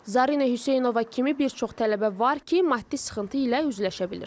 Zarinə Hüseynova kimi bir çox tələbə var ki, maddi sıxıntı ilə üzləşə bilir.